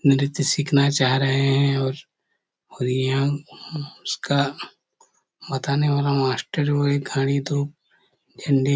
नृत्य सिखना चाह रहे है और और यहाँ उसका बताने वाला मास्टर वो घड़ी दो हिंदी --